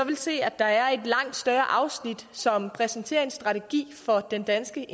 vil se at der er et langt større afsnit som præsenterer en strategi for den danske